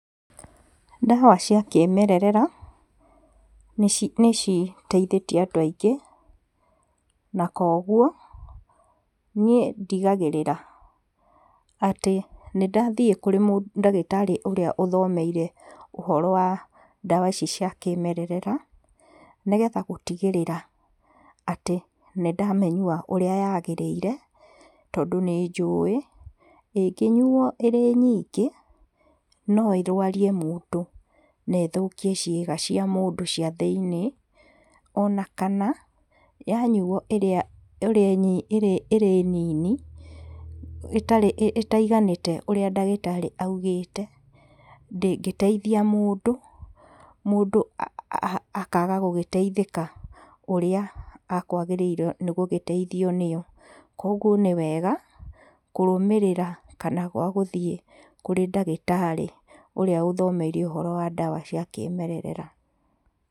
Ndawa cia kĩmerera, nĩci nĩciteithĩtie andũ aingĩ, na koguo, ni ndigagĩrĩra atĩ nĩndathiĩ kũrĩ mũ ndagĩtarĩ ũrĩa ũthomeire ũhoro wa ndawa ici cia kĩmerera, nĩgetha gũtigĩrĩra atĩ nĩndamĩnyua ũrĩa yagĩrĩire, tondũ nĩ njũĩ, ĩngĩnyuo ĩrĩ nyingĩ, no ĩrwarie mũndũ, na ĩthukie ciĩga cia mũndũ cia thĩinĩ, ona kana, yanyuo ĩrĩa ĩrĩ ĩrĩ nini, ĩtarĩ ĩtaiganĩte ũrĩa ndagĩtarĩ augĩte, ndĩgĩteithia mũndũ, mũndũ a akaga gũgĩteithĩka ũrĩa akwagĩrĩirwo nĩgũgĩteithio nĩyo. koguo nĩwega, kũrũmĩrĩra kana gũthiĩ kũrĩ ndagĩtarĩ ũrĩa ũthomeire ũhoro wa ndawa cia kĩmerera.